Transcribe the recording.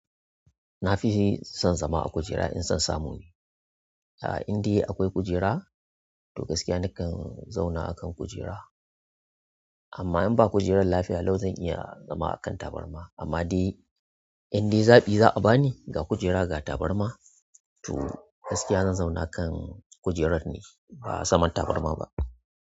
Nafi son zama a kujera in son samu ne. A indai akwai kujera to gaskiya nakan zauna akan kujera. Amma in ba kujerar lafiya lau zan iya zama akan tabarma. Amma dai inda zaɓi za'a bani ga kujera ga tabarma to gaskiya zan zauna kan kujerar ne ba saman tabarma ba.